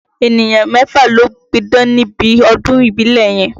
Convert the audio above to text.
Ènìyàn mẹ́fà ló pídán níbi ọdún ìbílẹ̀ yẹn